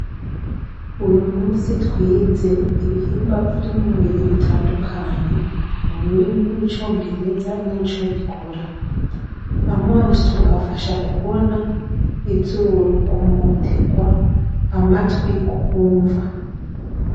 Uyu musi twize ibihimba vy'umubiri bitandukanye mu rurimi rw'icongereza n'ico bikora amaso afasha kubona izorukumoterwa amatwi kumva.